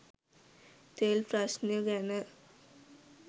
තෙල් ප්‍රශ්නය ගැන